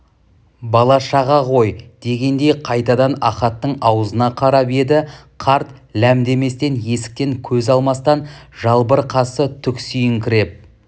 бала-шаға ғой дегендей қайтадан ахаттың аузына қарап еді қарт ләм деместен есіктен көз алмастан жалбыр қасы түксиіңкіреп